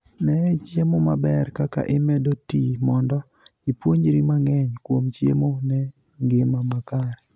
Nee chiemo maber kaka imedo tii mondo ipuonjri mang'eny kuom chiemo ne ngima makare.